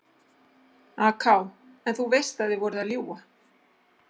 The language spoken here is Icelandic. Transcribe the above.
AK: En þú veist að þið voruð að ljúga?